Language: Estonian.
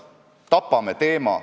Vabandust!